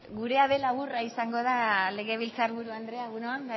gurea ere laburra izango da legebiltzarburu andrea egun on